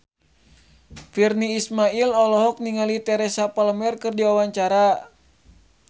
Virnie Ismail olohok ningali Teresa Palmer keur diwawancara